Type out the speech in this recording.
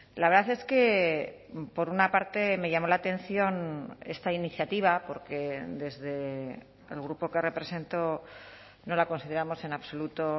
la verdad es que por una parte me llamó la atención esta iniciativa porque desde el grupo que represento no la consideramos en absoluto